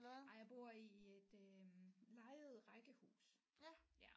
Nej jeg bor i i et øh lejet rækkehus ja